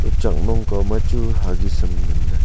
chaknong kaw ma chu huggies ham nganley.